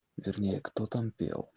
вернее кто там пел